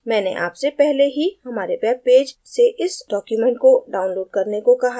मैनें आपसे पहले ही हमारे web पेज से इस document को download करने को कहा है